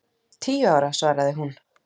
Tíu ára, svaraði hún.